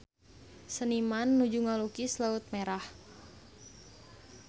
Seniman nuju ngalukis Laut Merah